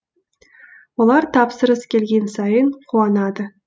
олар тапсырыс келген сайын қуанады